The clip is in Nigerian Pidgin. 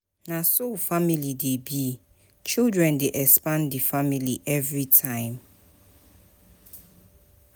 Na so family dey be, children dey expand di family everytime.